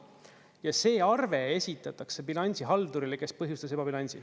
Ja see arve esitatakse bilansihaldurile, kes põhjustas ebabilansi.